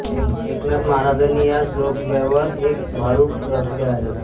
एकनाथ महाराजांनी या जोगव्यावर एक भारूड रचले आहे